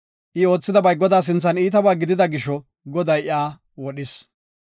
I oothidabay Godaa sinthan iitaba gidida gisho, Goday iyaka wodhis.